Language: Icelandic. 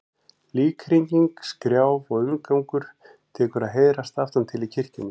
Líkhringing, skrjáf og umgangur tekur að heyrast aftan til í kirkjunni.